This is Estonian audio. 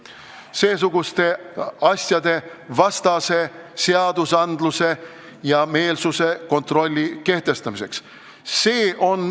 See on seesuguste asjade vastase seadusandluse ja meelsuse kontrolli kehtestamiseks.